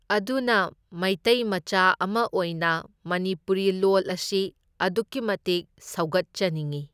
ꯑꯗꯨꯅ ꯃꯩꯇꯩ ꯃꯆꯥ ꯑꯃ ꯑꯣꯏꯅ ꯃꯅꯤꯄꯨꯔꯤ ꯂꯣꯜ ꯑꯁꯤ ꯑꯗꯨꯛꯀꯤ ꯃꯇꯤꯛ ꯁꯧꯒꯠꯆꯅꯤꯡꯢ꯫